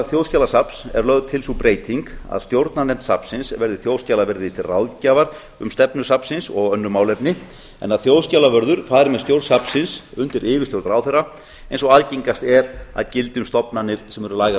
þjóðskjalasafns er lögð til sú breyting að stjórnarnefnd safnsins verði þjóðskjalaverði til ráðgjafar um stefnu safnsins og önnur málefni en að þjóðskjalavörður fari með stjórn safnsins undir yfirstjórn ráðherra eins og algengast er að gildi um stofnanir sem eru lægra